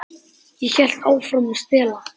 Ég hélt áfram að stela.